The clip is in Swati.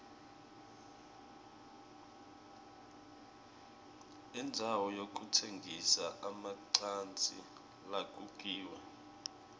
indzawo yekutsengisa emacansi lalukiwe